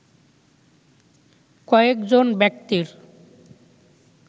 কয়েকজন ব্যক্তির